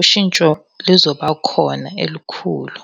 ushintsho lizoba khona elikhulu.